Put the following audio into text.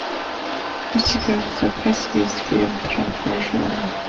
у тебя в запасе есть фильм трамвай желание